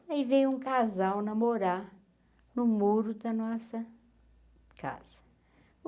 Aí veio um casal namorar no muro da nossa casa.